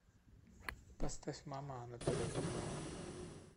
поставь мама анатолия крупнова